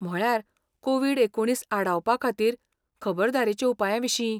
म्हळ्यार, कोविड एकुणीस आडावपाखातीर खबरदारेच्या उपायांविशीं.